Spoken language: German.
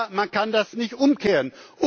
haben. Aber man kann das nicht umkehren.